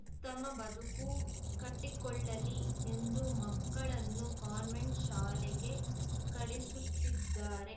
ಉತ್ತಮ ಬದುಕು ಕಟ್ಟಿಕೊಳ್ಳಲಿ ಎಂದು ಮಕ್ಕಳನ್ನು ಕಾನ್ವೆಂಟ್‌ ಶಾಲೆಗೆ ಕಳಿಸುತ್ತಿದ್ದಾರೆ